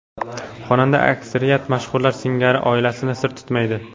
Xonanda aksariyat mashhurlar singari oilasini sir tutmaydi.